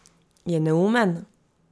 Je neumen?